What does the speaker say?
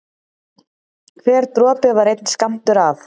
Hver dropi var einn skammtur af